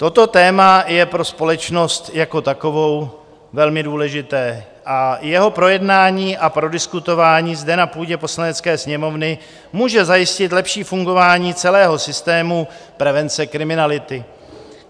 Toto téma je pro společnost jako takovou velmi důležité a jeho projednání a prodiskutování zde na půdě Poslanecké sněmovny může zajistit lepší fungování celého systému prevence kriminality.